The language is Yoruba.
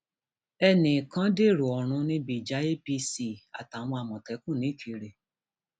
ẹnì um kan dèrò ọrun níbi ìjà apc um àtàwọn àmọtẹkùn nìkírè